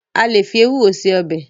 A lè fi ewúro se ọbẹ̀.